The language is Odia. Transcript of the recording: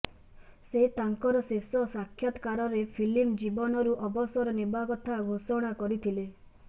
ସେ ତାଙ୍କର ଶେଷ ସାକ୍ଷାତକାରରେ ଫିଲ୍ମ ଜୀବନରୁ ଅବସର ନେବା କଥା ଘୋଷଣା କରିଥିଲେ